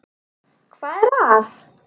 Hvað er að?